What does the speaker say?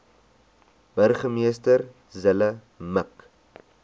burgemeester zille mik